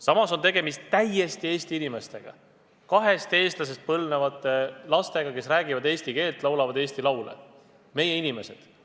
Samas on tegemist täiesti Eesti inimestega, kahest eestlasest põlvnevate lastega, kes räägivad eesti keelt, laulavad eesti laule – nad on meie inimesed.